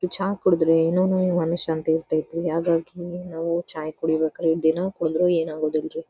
ಛಾ ಕುಡುದರೆ ಏನೋ ಮನಶಾಂತಿ ಇರತೈತಿ ಹಾಗಾಗಿ ನಾವು ಚಾಯ್ ಕುಡಿಯಬೇಕ್ರಿ ದಿನಾ ಕುಡಿದ್ರೂ ಏನ್ ಆಗೋದಿಲ್ಲಾರೀ.